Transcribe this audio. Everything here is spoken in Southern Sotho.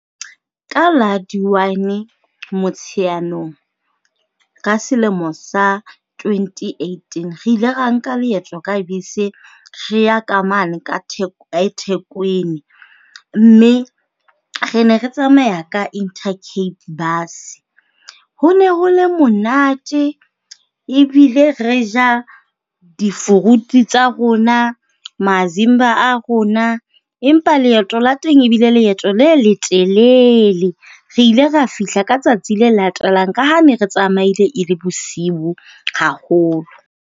Ka la di 1 Motsheanong ka selemo sa 2018, re ile ra nka leeto ka bese re ya ka mane ka eThekwini. Mme, re ne re tsamaya ka Inter Cape Bus. Ho ne ho le monate ebile re ja di-fruit tsa rona, mazimba a rona. Empa leeto la teng ebile leeto le leteleele. Re ile ra fihla ka tsatsi le latelang ka ha ne re tsamaile e le bosiu haholo.